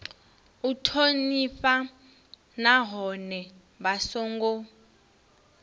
u thonifha nahone vha songo